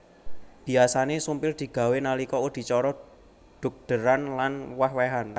Biyasané sumpil digawé nalika adicara dhugdéran lan wéh wéhan